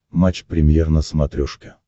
матч премьер на смотрешке